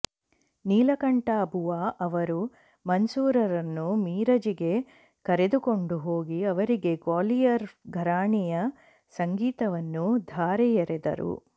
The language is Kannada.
ನೀಲಕಂಠ ಬುವಾ ಅವರು ಮನ್ಸೂರರನ್ನು ಮಿರಜಿಗೆ ಕರೆದುಕೊಂಡು ಹೋಗಿ ಅವರಿಗೆ ಗ್ವಾಲಿಯರ ಘರಾಣೆಯ ಸಂಗೀತವನ್ನು ಧಾರೆಯೆರೆದರು